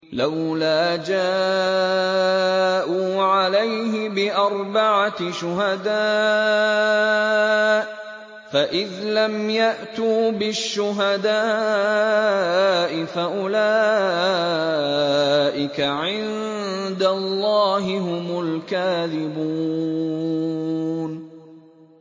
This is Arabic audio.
لَّوْلَا جَاءُوا عَلَيْهِ بِأَرْبَعَةِ شُهَدَاءَ ۚ فَإِذْ لَمْ يَأْتُوا بِالشُّهَدَاءِ فَأُولَٰئِكَ عِندَ اللَّهِ هُمُ الْكَاذِبُونَ